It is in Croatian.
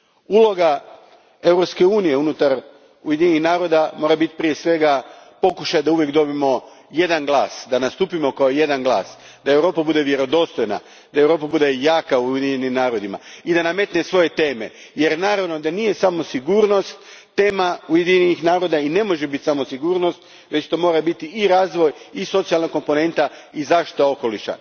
Uloga Europske unije unutar Ujedinjenih naroda mora biti prije svega pokušaj da uvijek dobijemo jedan glas, da nastupimo kao jedan glas, da Europa bude vjerodostojna, da Europa bude jaka u Ujedinjenim narodima i da nametne svoje teme jer naravno da nije samo sigurnost tema Ujedinjenih naroda i ne može biti samo sigurnost već to mora biti i razvoj i socijalna komponenta i zaštita okoliša.